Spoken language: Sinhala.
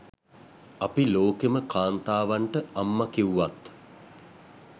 අපි ලෝකෙම කාන්තාවන්ට අම්ම කිව්වත්